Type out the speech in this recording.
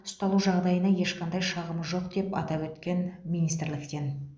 ұсталу жағдайына ешқандай шағымы жоқ деп атап өткен еді министрліктен